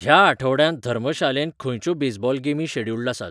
ह्या आठवड्यांत धर्मशालेंत खंयच्यो बेजबॉल गेमी शॅड्युल्ड आसात?